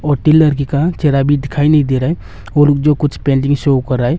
और तीन लड़की का चेहरा अभी दिखाई नहीं दे रहा है और जो कुछ पेंटिंग शो कर रहा है।